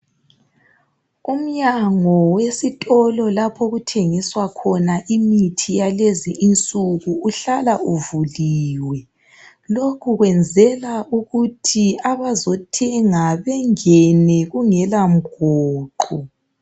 Umnyango wesitolo lapho okuthengiswa khona imithi yalezinsuku uhlala uvuliwe. Lokho kwenzelwa ukuthi abazothenga bengene kungela mgoqo.